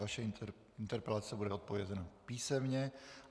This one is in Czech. Vaše interpelace bude odpovězena písemně.